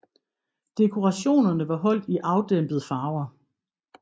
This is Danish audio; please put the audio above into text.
Dekorationerne var holdt i afdæmpet farver